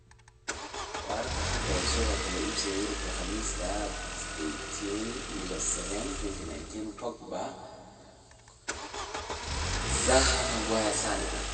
Wararka xanta suuqa kala iibsiga Yurub Khamiista 18.07.2019: Pogba, Koscielny, Zaha, Maguire, Sane